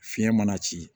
Fiɲɛ mana ci